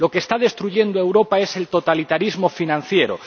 Lo que está destruyendo a Europa es el totalitarismo financiero.